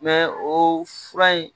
o fura in